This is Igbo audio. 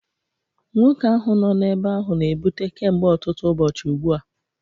Nwoke ahụ nọ n'ebe ahụ na-ebute kemgbe ọtụtụ ụbọchị ugbu a